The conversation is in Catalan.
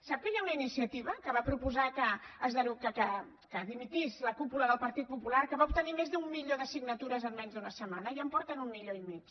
sap que hi ha una iniciativa que va proposar que dimitís la cúpula del partit popular que va obtenir més d’un milió de signatures en menys d’una setmana ja en porten un milió i mig